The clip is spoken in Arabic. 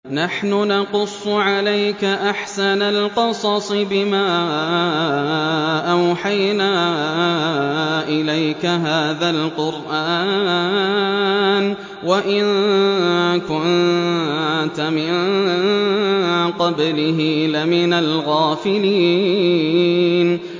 نَحْنُ نَقُصُّ عَلَيْكَ أَحْسَنَ الْقَصَصِ بِمَا أَوْحَيْنَا إِلَيْكَ هَٰذَا الْقُرْآنَ وَإِن كُنتَ مِن قَبْلِهِ لَمِنَ الْغَافِلِينَ